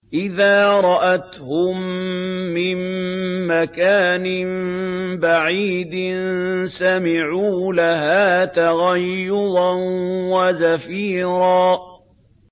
إِذَا رَأَتْهُم مِّن مَّكَانٍ بَعِيدٍ سَمِعُوا لَهَا تَغَيُّظًا وَزَفِيرًا